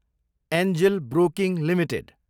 Angel Broking Ltd